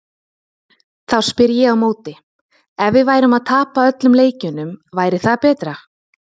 Þá spyr ég á móti, ef við værum að tapa öllum leikjunum, væri það betra?